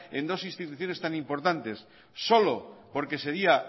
en dos instituciones tan importantes solo porque sería